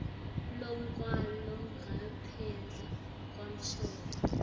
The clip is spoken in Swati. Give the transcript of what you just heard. lowatalwa ngaphandle kwemshado